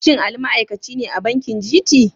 Shin Ali ma'aikaci ne a bankin GT?